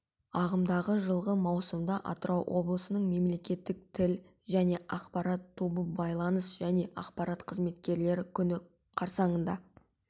ағымдағы жылғы маусымда атырау облысының мемлекеттік тіл және ақпарат тобы байланыс және ақпарат қызметкерлері күні қарсаңында